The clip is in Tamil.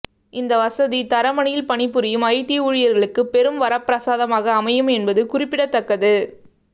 இந்த வசதி தரமணியில் பணிபுரியும் ஐடி ஊழியர்களுக்கு பெரும் வரப்பிரசாதமாக அமையும் என்பது குறிப்பிடத்தக்கது